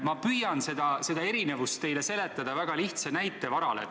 Ma püüan seda erinevust teile seletada väga lihtsa näite varal.